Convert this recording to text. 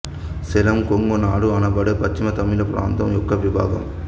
సేలం కొంగు నాడు అనబడే పశ్చిమ తమిళ ప్రాంతం యొక్క విభాగం